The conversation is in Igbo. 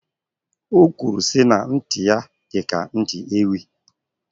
Okwuru si na nti ya di ka nti Ewi